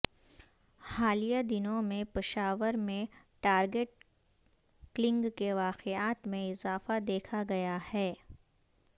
حالیہ دنوں میں پشاور میں ٹارگٹ کلنگ کے واقعات میں اضافہ دیکھا گیا ہے